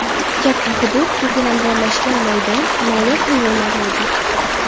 Katta hudud, ko‘kalamzorlashgan maydon, noyob hayvonlar mavjud.